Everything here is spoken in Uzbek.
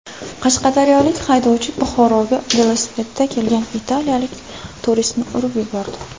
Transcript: Qashqadaryolik haydovchi Buxoroga velosipedda kelgan italiyalik turistni urib yubordi.